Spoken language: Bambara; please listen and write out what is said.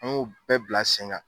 An y'u bɛɛ bila sen kan